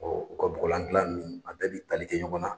u ka bɔgɔlan gilan ninnu a bɛɛ bɛ tali kɛ ɲɔgɔn na.